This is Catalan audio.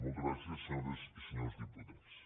moltes gràcies senyores i senyors diputats